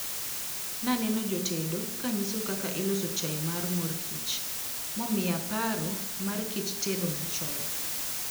Naneno jotedo kanyiso kaka iloso chai mar mor kich momiya paro mar kit tedo machon.